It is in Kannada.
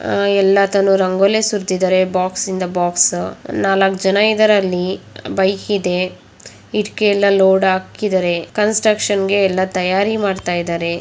ಆಹ್ ಎಲ್ಲಾತನು ರೊಂಗೊಲಿ ಸುರ್ತಿದರೆ ಬಾಕ್ಸ್ ಇಂದ ಬಾಕ್ಸ್. ನಾಲ್ಕ ಜನ ಇದ್ದಾರೆ ಅಲ್ಲಿ ಬೈಕ್ ಇದೆ. ಇದಕಿ ಎಲ್ಲ ಲೋಡ್ ಹಾಕಿದರೆ ಕನ್ಸ್ಟ್ರಕ್ಷನ್ ಗೆ ಎಲ್ಲ ತಯ್ಯಾರಿ ಮಾಡ್ತಾಯಿದರೆ.